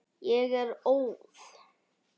Ég er óð.